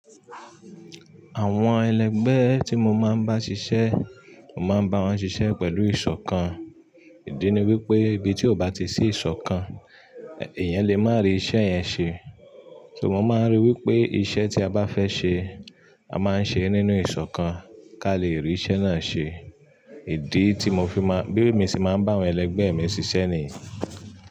Àwọn ẹlẹgbẹ́ tí mo máa ń bá ṣiṣẹ́, mo máa ń bá wọn ṣiṣẹ́ pẹ̀lú ìṣọ̀kan. Ìdí ni wípé ibi tí ó bá ti sí ìṣọ̀kan, eeyan lè má rí iṣẹ́ yẹn ṣe. So mo máa ń rí wípé iṣẹ́ tí a bá fẹ́ ṣe, a máa ń ṣe nínú ìṣọ̀kan ká lè rí iṣẹ́ náà ṣe. Ìdí tí mo fi máa, bí mi ṣe máa ń bá àwọn ẹlẹgbẹ́ mi ṣiṣẹ́ nìyí.